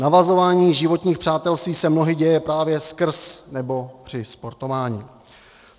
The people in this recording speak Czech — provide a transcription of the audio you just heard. Navazování životních přátelství se mnohdy děje právě skrz nebo při sportování.